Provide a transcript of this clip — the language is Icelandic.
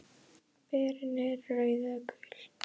Berin eru rauð eða gul.